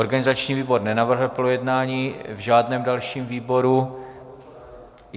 Organizační výbor nenavrhl projednání v žádném dalším výboru.